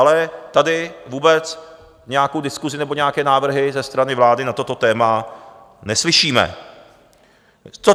Ale tady vůbec nějakou diskusi nebo nějaké návrhy ze strany vlády na toto téma neslyšíme.